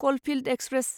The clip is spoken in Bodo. कलफिल्ड एक्सप्रेस